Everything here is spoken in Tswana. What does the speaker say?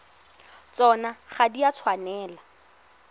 tsona ga di a tshwanela